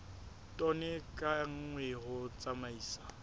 tone ka nngwe ho tsamaisa